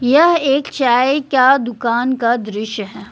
यह एक चाय क्या दुकान का दृश्य है।